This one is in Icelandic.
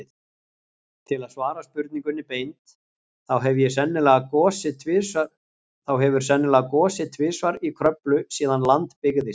Til að svara spurningunni beint, þá hefur sennilega gosið tvisvar í Kröflu síðan land byggðist.